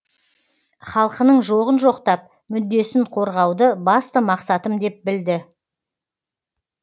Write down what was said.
халқының жоғын жоқтап мүддесін қорғауды басты мақсатым деп білді